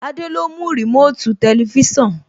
Adé ló mú Remote Tẹlifísàn